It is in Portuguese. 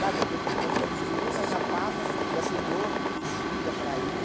a concentração de uma já passa, já tem outra de seguida para ir.